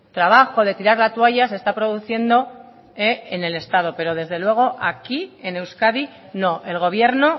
trabajo de tirar la toalla se está produciendo en el estado pero desde luego aquí en euskadi no el gobierno